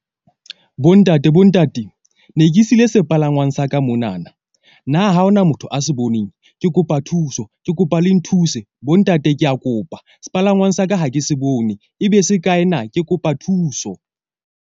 Bontate bo ntate ne ke siile sepalangwang sa ka monana. Na ha hona motho a se boneng? Ke kopa thuso. Ke kopa le nthuse bo ntate ke a kopa, sepalangwang sa ka ha ke se bone ebe se kae na? Ke kopa thuso.